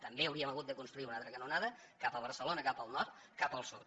també hauríem hagut de construir una altra canonada cap a barcelona cap al nord cap al sud